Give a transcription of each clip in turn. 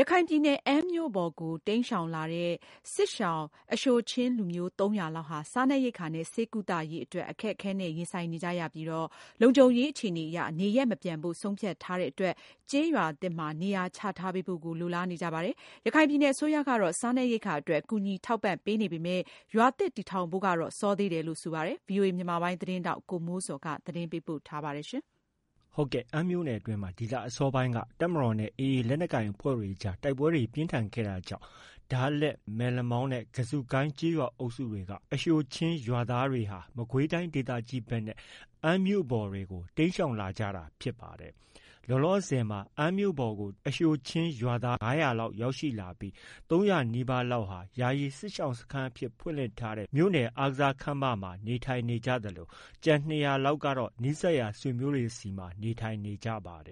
ရခိုင်ပြည်နယ် အမ်းမြို့ပေါ်ကို တိမ်းရှောင်လာတဲ့ စစ်ရှောင် အရှိုချင်းလူမျိုး ၃၀၀ လောက်ဟာ စားနပ်ရိက္ခာနဲ့ ဆေးကုသရေးအတွက် အခက်အခဲနဲ့ ရင်ဆိုင်နေကြရပြီး လုံခြုံရေး အခြေအနေအရ နေရပ်မပြန်ဖို့ ဆုံးဖြတ်ထားတဲ့အတွက် ကျေးရွာသစ်မှာ နေရာချထားပေးဖို့ကို လိုလားနေကြပါတယ်။ ရခိုင်ပြည်နယ် အစိုးရကတော့ စားနပ်ရိက္ခာအတွက် ကူညီထောက်ပံ့ပေမဲ့ ရွာသစ်တည်ထောင်ပေးဖို့ အတွက်ကတော့ စောသေးတယ်လို့ ဆိုပါတယ်။ ဒီသတင်းကိုတော့ ဗွီအိုအေ မြန်မာပိုင်းရဲ့သတင်းထောက် ကိုမိုးဇော်က တင်ပြထားပါတယ်။ အမ်းမြို့နယ်အတွင်းမှာ ဒီလ အစောပိုင်းတည်းက တပ်မတော်နဲ့ AA ရခိုင်လက်နက်ကိုင်တွေအကြား တိုက်ပွဲတွေ ပြင်းထန်ခဲ့တာကြောင့် ဒါးလက်၊ မက်လမောင်းနဲ့ ကဇုကိုင်း ကျေးရွာအုပ်စုက အရှိုချင်း ရွာသားတွေဟာ မကွေးတိုင်း ဒေသကြီးဘက်နဲ့ အမ်းမြို့ပေါ်တွေကို တိမ်းရှောင်လာကြတာဖြစ်ပါတယ်။ လောလောဆည်မှာ အမ်းမြို့ပေါ်ကို အရှိုချင်း ရွာသား ၅၀၀ နီးပါးလောက်ရောက်ရှိနေပြီး ၃၀၀နီးပါးလောက်ဟာ ယာယီစစ်ရှောင်စခန်းအဖြစ် ဖွင့်လှစ်ထား မြို့နယ်အားကစားခန်းမမှာ နေထိုင်နေကြသလို ကျန် ၂၀၀လောက်ကတော့ နီးစပ်ရာ ဆွေမျိုးတွေထံမှာ နေထိုင်နေကြတာပါ။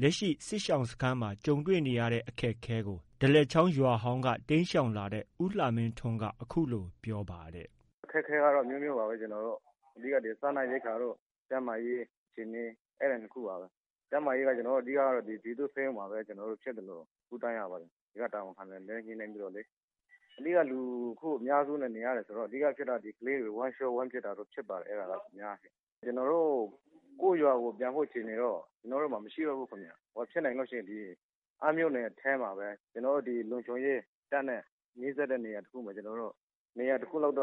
လက်ရှိ စစ်ရှောင်စခန်းမှာ တွေ့ကြုံနေရတဲ့ အခက်အခဲကို ဒါးလက်ချောင်းရွာဟောင်းက တိမ်းရှောင်လာတဲ့ ဦးလှမင်းထွန်းက အခုလို ပြောပါတယ်။ “ အခက်အခဲကတော့ အမျိုးမျိုးပါပဲ။ အဓိက ကတော့ စားနပ်ရိက္ခာနဲ့ ကျန်းမာရေး အခြေအနေ အဲဒီ ၂ ခုပါပဲ။ ကျန်းမာရေးကတော့ ဒီက ပြည်သူ့ဆေးရုံမှာပဲ ဖြစ်သလို ကုသရပါတယ်။ ဒီက တာဝန်ခံနဲ့ညှိနှိုင်းပြီးတော့လေ။ အဓိက လူအများစုနဲ့ နေရတယ်ဆိုတော့ ကလေးတွေ ဝမ်းလျော ဝမ်းပျက်ဖြစ်ပါတယ် အများအားဖြင့်။ ကျနော်တို့ ကိုယ့်ရွာကိုယ် ပြန်ဖို့အခြေအနေတော့ မရှိတော့ဘူးခင်ဗျ။ ဖြစ်နိုင်လို့ရှိရင် အမ်းမြို့နယ်ထဲမှာပဲ ကျနော်တို့ လုံခြုံရေး တပ်နဲ့ နီးစပ်တဲ့နေရာတစ်ခုမှာ ကျနော်တို့ နေရာတစ်ခုလောက်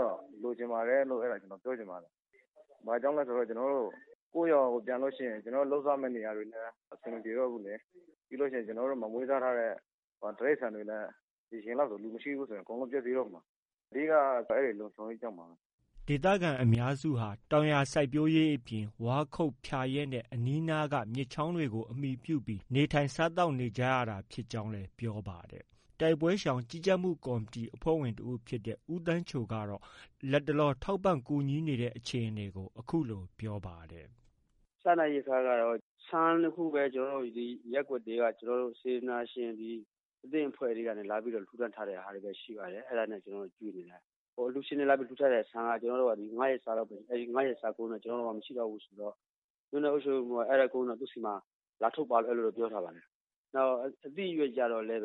လိုချင်ပါတယ်လို့ ပြောချင်ပါတယ်။ ဘာဖြစ်လို့လဲဆို ကျနော်တို့ ကိုယ့်ရွာကို ပြန်လို့ ရှိရင် လုပ်စားရမယ့် နေရာတွေလည်း အဆင်မပြေတော့ဘူးလေ။ ပြီးရင် ကျနော်တို့မှာ မွေးစားထားတဲ့ တိရိစ္ဆာန်တွေလည်း ဒီအချိန်လောက်ဆို လူမရှိဘူးဆို အကုန် ပျက်စီးတော့မှာ။ အဓိကက အဲဒီလုံခြုံရေးကြောင့်ပါပဲ။ ” ဒေသခံအများစုဟာ တောင်ယာစိုက်ပျိုးရေး အပြင် ဝါးခုတ်၊ ဖျာရက်နဲ့ အနီးအနားက မြစ်ချောင်းတွေကို အမှီပြု နေထိုင်စားသောက် နေကြရတာဖြစ်ကြောင်း ပြောပါတယ်။ တိုက်ပွဲရှောင် ကြီးကြပ်မှု ကော်မတီ အဖွဲ့ဝင်တစ်ဦးဖြစ်တဲ့ ဦးသန်းချိုက လတ်တလော ကူညီထောက်ပံ့နေတဲ့ အခြေအနေကို အခုလို ပြောပါတယ်။ “ စားနပ်ရိက္ခာကတော့ ဆန်တစ်ခုပဲ ရပ်ကွက်တွေက စေတနာရှင် အသင်းအဖွဲ့တွေက လာပြီး လှူဒါန်း ထားတာပဲ ရှိပါတယ်။ ကျနော်တို့ အဲဒါနဲ့ ကျွေးနေတာ။ အ လှူရှင်တွေ လာ လှူထားတဲ့ဆန်က ၅ရက်စာပဲ။ ၅ရက်စာကုန်ရင်တော့ ကျနော်တို့မှာ မရှိတော့ဘူးဆိုတော့ မြို့နယ်အုပ်ချုပ်ရေးမှုးက အဲဒါ ကုန်ရင်တော့ သူ့ဆီမှာ လာထုတ်ပါလို့တော့ ပြောထားပါတယ်။ နောက် အသီးအရွက်ကျတော့လည်း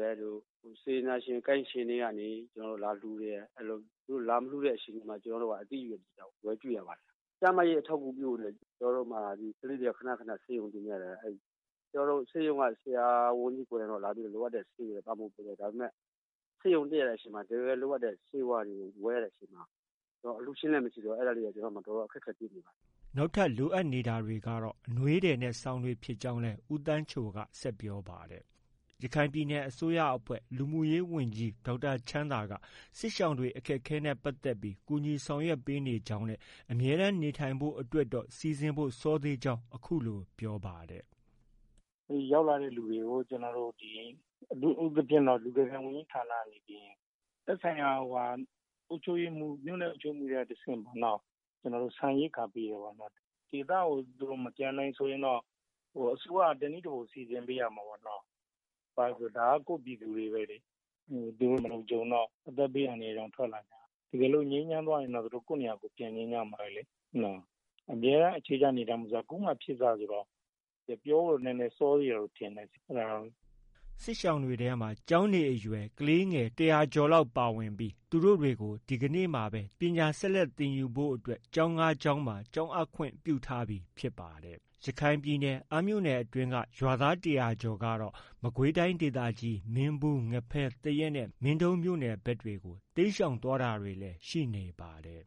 စေတနာရှင် ကိုင်းရှင်တွေကနေ သူတို့ လာလှုတယ်။ သူတို့ လာမလှုတဲ့အချိန်ကျရင် ကျနော်တို့ အသီးအရွက်တွေ ဝယ်ကျွေးရပါတယ်။ ကျန်းမာရေးအထောက်အကူပြုမှာ ကလေးတွေက ခန ခန ဆေးရုံတင်ရပါတယ်။ ဆေးရုံက ဆရာဝန်ကြီးကိုယ်တိုင်ကလာပြီးတော့ လိုအပ်တဲ့ ဆေးတွေတော့ ပံ့ပိုးပေးတယ်။ ဒါပေမဲ့ ဆေးရုံတက်တဲ့အချိန်မှာ တစ်ကယ်လိုအပ်တဲ့ ဆေးဝါးတွေကို ဝယ်ရတဲ့အချိန်မှာ အလှုရှင်လည်း မရှိတော့ အဲဒါတွေက ကျနော်တို့မှာ တော်တော် အခက်အခဲ တွေ့ပါတယ်။” နောက်ထပ်လိုအပ်တာကတော့ အနွေးထည်နဲ့ စောင်တွေ ဖြစ်ကြောင်း ဦးသန်းချိုက ဆက်ပြောပါတယ်။ ရခိုင်ပြည်နယ်အစိုးရအဖွဲ့ လူမှုရေးဝန်ကြီး ဒေါက်တာချမ်းသာက စစ်ရှောင်တွေအခက်အခဲနဲ့ ပတ်သက်ပြီး ကူညီဆောင်ရွက်ပေးနေကြောင်း၊ အမြဲတမ်းနေထိုင်ဖို့ အတွက်တော့ စီစဉ်ဖို့ စောသေးကြောင်း အခုလို ပြောပါတယ်။ “ ရောက်လာတဲ့ သူတွေကို ကျနော်တို့ ဒီ အထူးသဖြင့် လူကယ်ပြန် ဝန်ကြီးဌာနက နေပြီးရင် သက်ဆိုင်ရာ မြို့နယ် အုပ်ချုပ်ရေးမှူး တွေက တဆင့် ကျနော်တို့ ဆန်ရိက္ခာပေးတယ်။ ဒေသကို မပြန်နိုင်ဆိုရင်တော့ အစိုးရက တစ်နည်းတစ်ဖုံစီစဉ်ပေးရမှာပေါ့။ ဒါက ကိုယ့်ပြည်သူတွေပဲလေ။ သူတို့ မလုံခြုံတော့ အသက်ဘေး အန္တရာယ်ကြောင့် ထွက်လာတာ။ တစ်ကယ်လို့ ငြိမ်းချမ်းသွားရင်တော့ သူတို့ ကိုယ့်နေရာကိုယ် ပြန်ချင်ကြမှာပဲလေ နော။ အမြဲတမ်းအခြေချ နေထိုင်ဖို့ ဆိုတာ ခုမှ ဖြစ်စဆိုတော့ ပြောဖို့ နည်းနည်း စောသေးတယ်လို့ထင်တယ်။ အဲဒါတော့ ” စစ်ရှောင်တွေထဲမှာ ကျောင်းနေအရွယ် ကလေးငယ် ၁၀၀ကျော်လောက် ပါဝင်နေပြီး သူတို့တွေကို ဒီကနေ့မှာပဲ ပညာဆက်လက်သင်ယူဖို့ ကျောင်း ၅ကျောင်းမှာ ကျောင်းအပ်ခွင့် ပြုထားပြီဖြစ်ပါတယ်။ ရခိုင်ပြည်နယ်အမ်းမြို့နယ်အတွင်းက ရွာသား ၁၀၀ကျော်ကတော့ မကွေးတိုင်းဒေသကြီး မင်းဘူး၊ ငဖဲ၊ သရက်နဲ့ မင်းတုံးမြို့နယ်ဘက်တွေကို တိမ်းရှောင်တာတွေလည်း ရှိနေပါတယ်။